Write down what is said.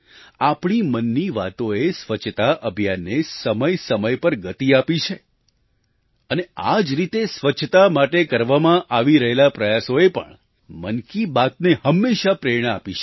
આપણી મનની વાતોએ સ્વચ્છતા અભિયાનને સમય સમય પર ગતિ આપી છે અને આ જ રીતે સ્વચ્છતા માટે કરવામાં આવી રહેલા પ્રયાસોએ પણ મન કી બાતને હંમેશાં પ્રેરણા આપી છે